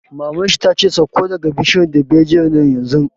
Maman shi ta ce 'Sauko daga bishiyar dalbejiyar nan yanzu'!